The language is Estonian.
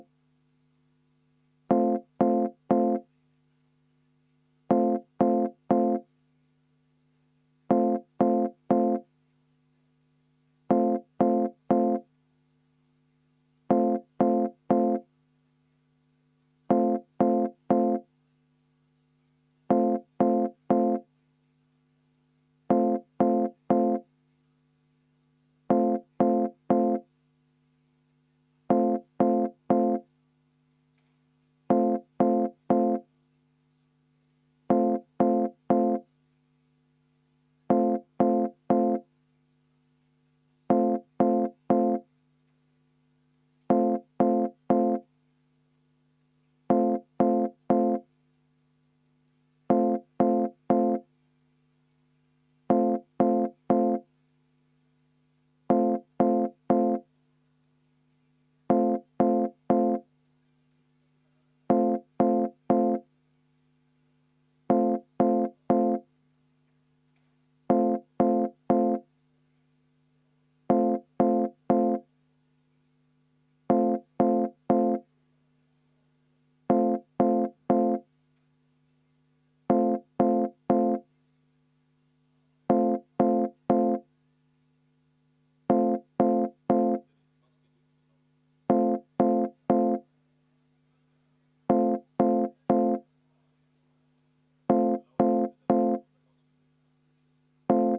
V a h e a e g